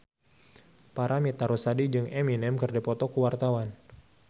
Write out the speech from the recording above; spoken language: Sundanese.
Paramitha Rusady jeung Eminem keur dipoto ku wartawan